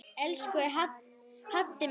Elsku Haddi minn.